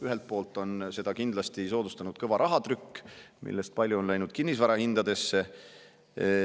Ühelt poolt on seda kindlasti soodustanud kõva rahatrükk, mis on palju kinnisvara hindadele.